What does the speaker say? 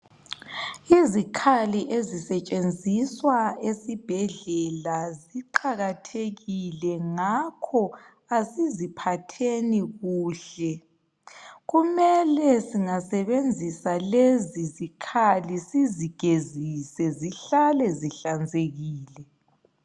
Izikhali ezisetshenziswa esibhedlela ziqakathekile ngakho asiziphatheni kuhle kumele singasebenzisa lezi zikhali sizigezise zihlale zihlanzekile.